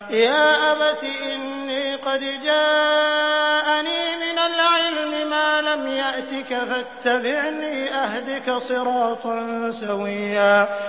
يَا أَبَتِ إِنِّي قَدْ جَاءَنِي مِنَ الْعِلْمِ مَا لَمْ يَأْتِكَ فَاتَّبِعْنِي أَهْدِكَ صِرَاطًا سَوِيًّا